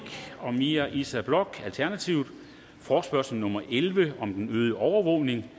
og mira issa bloch forespørgsel nummer f elleve om den øgede overvågning